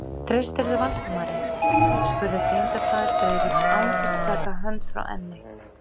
Treystirðu Valdimari? spurði tengdafaðir Friðriks án þess að taka hönd frá enni.